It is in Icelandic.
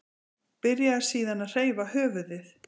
Byrjaði síðan að hreyfa höfuðið.